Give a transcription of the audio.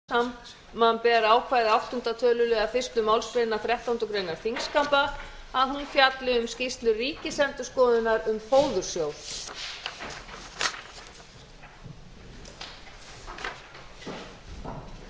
forseti vill tilkynna að með bréfi dagsettu tuttugasta og sjöunda mars síðastliðinn hefur forseti óskað eftir því við stjórnskipunar og eftirlitsnefnd samanber ákvæði áttunda töluliðar fyrstu